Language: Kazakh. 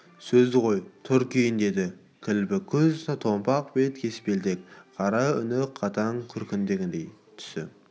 сөзді қой тұр киін деді кілбік көз томпақ бет кеспелтек қара үні қатаң күркірегеңдей түсі